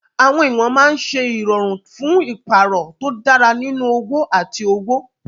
Àwọn ìwọ̀n máa ń ṣe ìrọ̀rùn fún ìpààrọ̀ tó dára nínú òwò àti òwò.